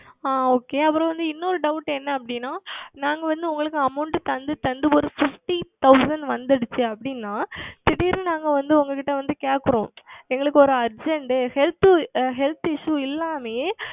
ஆஹ் Okay அப்புறம் வந்து இன்னோரு Doubt என்னவென்றால் நாங்கள் வந்து உங்களுக்கு Amount தந்து தந்து ஓர் Fifty Percentage வந்தது அப்படி என்றால் திடீர் என்று நாங்கள் வந்து உங்களிடம் வந்து கேட்கிறோம் எங்களுக்கு ஓர் UrgentHealth Issue இல்லாமலேயே